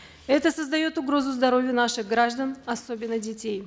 это создает угрозу здоровью наших граждан особенно детей